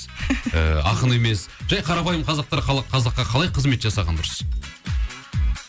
ыыы ақын емес жай қарапайым қазақтар қазаққа қалай қызмет жасағаны дұрыс